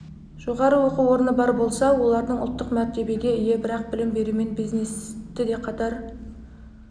жоғары оқу орны бар болса олардың ұлттық мәртебеге ие бірақ білім берумен бизнесті де қатар